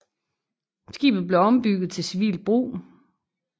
Skibet blev ombygget til civilt brug